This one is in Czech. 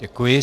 Děkuji.